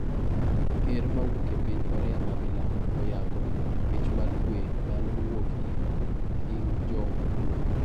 Ker mawuok e piny Korea ma milambo oyango ' Mich mar kwe' ma ne owuok ir Kim Jong Un.